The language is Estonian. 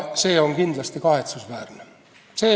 See on kindlasti kahetsusväärne.